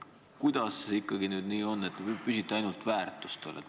Kuidas siis ikkagi nüüd nii on, et te püsite ainult väärtustel?